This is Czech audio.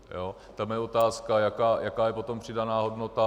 Tam je otázka, jaká je potom přidaná hodnota.